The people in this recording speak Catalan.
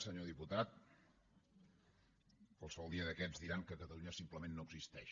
senyor diputat qualsevol dia d’aquests diran que catalunya simplement no existeix